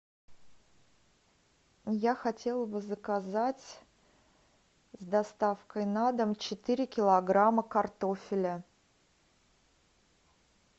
я хотела бы заказать с доставкой на дом четыре килограмма картофеля